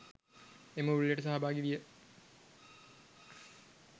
එම උළෙලට සහභාගි විය.